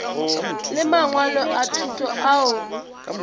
le mangwalo a thuto ao